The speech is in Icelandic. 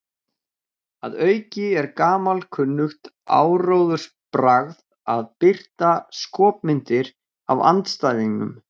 Að auki er gamalkunnugt áróðursbragð að birta skopmyndir af andstæðingnum.